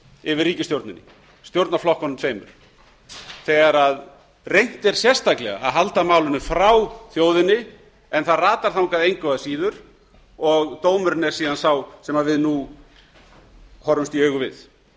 yfir ríkisstjórninni stjórnarflokkunum tveimur þegar reynt er sérstaklega að halda málinu frá þjóðinni en það ratar þangað engu að síður og dómurinn er síðan sá sem við nú horfumst í augu við